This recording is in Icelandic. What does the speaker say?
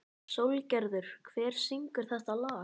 Sólgerður, hver syngur þetta lag?